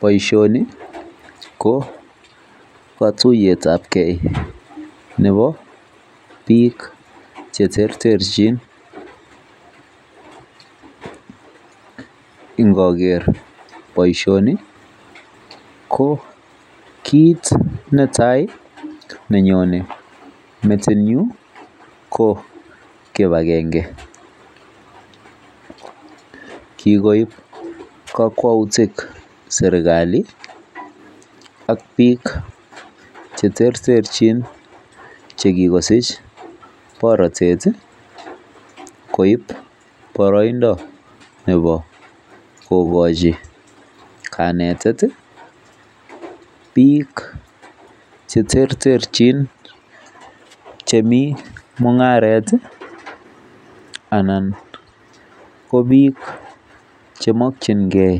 Baishoni ko katuiyet ab gei Nebo bik cheterterchin ingoger. Baishoni ko kit netai nenyonen metit nyun ko kibagenge kikoib kakwautik serikali ak bik cheterterchin chekakosich baratet koib baraindo Nebo kokachin kanetet bik cheterterchin chemii mungaret anan ko bik chemakingei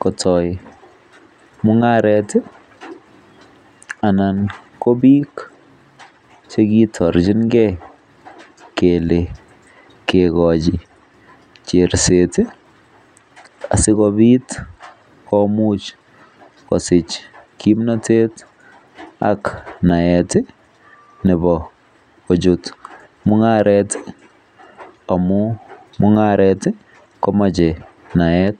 kotai mungaret anan ko bik chekitarchinbgei mekochi cherset asikobit komuch kosich kimnatet ak naet Nebo kochut mungaret amun mungaret komache naet